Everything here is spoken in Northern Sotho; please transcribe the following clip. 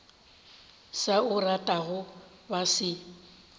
sa o ratego ba se